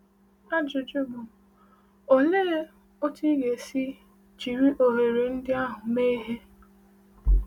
Ajụjụ bụ: Olee otú ị ga-esi jiri ohere ndị ahụ mee ihe?